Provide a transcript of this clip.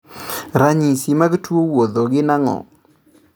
Ranyisi mag tuo wuotho gin ang'o?